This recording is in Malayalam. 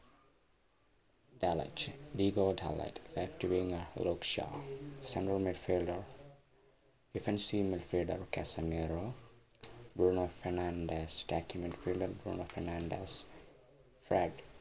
ഡാലറ്റ് ഡിഗോ ഡാലറ്റ് റിറ്റവിഗ റോഷാ central met filder defensive met feilder Casemiro Bruno Fernandes കാസ്റ്റിംഗ് filder ബ്രൂണോ ഭർണാണ്ടസ